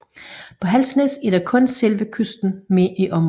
På Halsnæs er kun selve kysten med i området